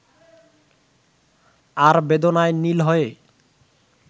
আর বেদনায় নীল হয়ে